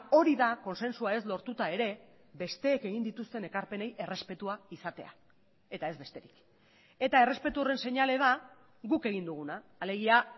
hori da kontzentzua ez lortuta ere besteek egin dituzten ekarpenei errespetua izatea eta ez besterik eta errespetu horren seinale da guk egin duguna alegia